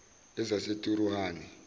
ezaseturuhani